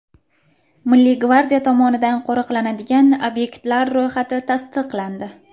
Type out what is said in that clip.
Milliy gvardiya tomonidan qo‘riqlanadigan obyektlar ro‘yxati tasdiqlandi .